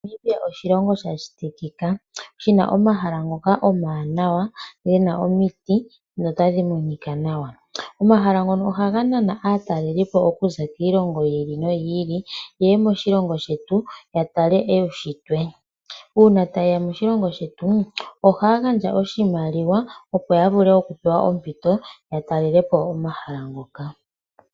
Namibia oshilongo sha shitikika shina omahala haga monika nawa. Omahala ngano ohaga nana aatalelipo okuza kiilongo yilwe okuya moshilongo shetu ya tale uushitwe. Uuna taye ya moshilongo shetu ohaya pewa ompito ya vule okutala omahala ngoka.